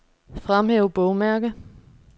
Fremhæv bogmærke.